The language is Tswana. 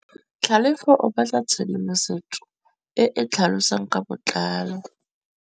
Tlhalefô o batla tshedimosetsô e e tlhalosang ka botlalô.